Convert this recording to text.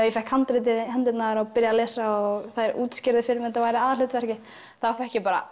ég fékk handritið í hendurnar og byrjaði að lesa og þær útskýrðu fyrir mér að þetta væri aðalhlutverkið þá fékk ég bara